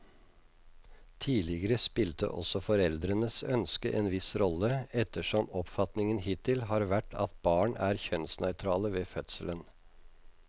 Tidligere spilte også foreldrenes ønske en viss rolle, ettersom oppfatningen hittil har vært at barn er kjønnsnøytrale ved fødselen.